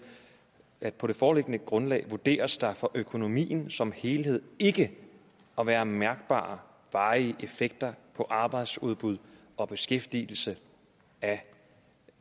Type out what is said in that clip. at på det foreliggende grundlag vurderes der for økonomien som helhed ikke at være mærkbare varige effekter på arbejdsudbud og beskæftigelse af